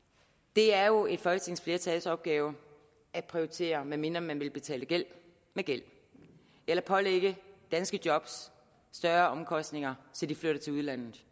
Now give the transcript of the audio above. det er jo et folketingsflertals opgave at prioritere medmindre man vil betale gæld med gæld eller pålægge danske job større omkostninger så de flytter til udlandet